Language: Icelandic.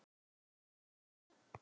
Hann reit